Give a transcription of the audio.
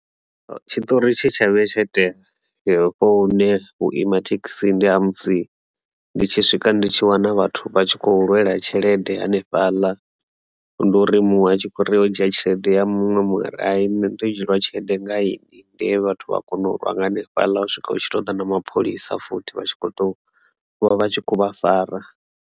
Tshitori tshe tsha vhuya tsha itea hafho hune vhuima thekhisi ndi ha musi ndi tshi swika ndi tshi wana vhathu vha tshi khou lwela tshelede hanefhaḽa ndi uri muṅwe a tshi kho uri muṅwe o dzhia tshelede ya muṅwe muṅwe ari hai nṋe ndo dzhieliwa tshelede nga inwi, ndi he vhathu vha kona u lwa nga hanefhaḽa u swika hu tshi to ḓa na mapholisa futhi vha tshi kho to vha vha tshi khou vha fara.